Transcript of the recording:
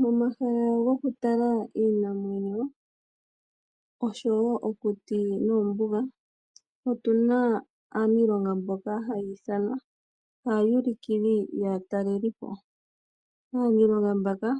Momahala goku tala iinamwenyo oshowo okuti noombuga otunamo aaniilonga mboka hayi ithanwa aawulikili yaatalelipo. Aaniilonga mbaka